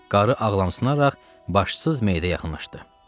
Qarı ağlamsınaraq başsız meyidə yaxınlaşdı.